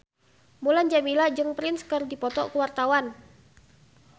Mulan Jameela jeung Prince keur dipoto ku wartawan